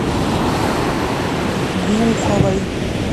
глуховой